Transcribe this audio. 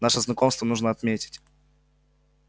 наше знакомство нужно отметить